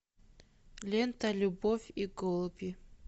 лента любовь и голуби